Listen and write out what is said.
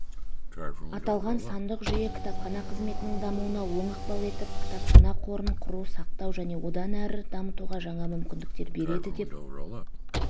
аталған сандық жүйе кітапхана қызметінің дамуына оң ықпал етіп кітапхана қорын құру сақтау және одан әрі дамытуға жаңа мүмкіндіктер береді деп